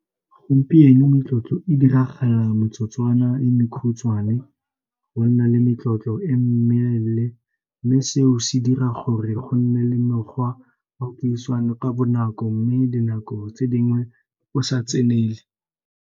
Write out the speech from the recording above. Gompieno metlotlo e diragala motsotswana le mekhutshwane, go nna le metlotlo e mme seo se dira gore go nne le mekgwa wa puisano ka bonako mme dinako tse dingwe o sa tsenele.